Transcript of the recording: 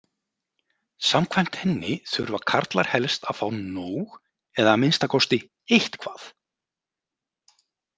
Samkvæmt henni þurfa karlar helst að fá „nóg“ eða að minnsta kosti „eitthvað“.